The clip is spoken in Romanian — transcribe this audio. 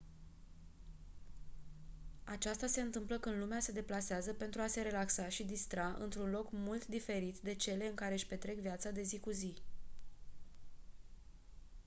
aceasta se întâmplă când lumea se deplasează pentru a se relaxa și distra într-un loc mult diferit de cele în care-și petrec viața de zi cu zi